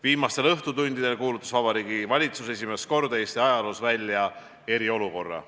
Viimastel õhtutundidel kuulutas Vabariigi Valitsus esimest korda Eesti ajaloos välja eriolukorra.